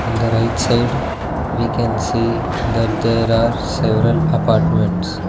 on the right side we can see that there are several apartments.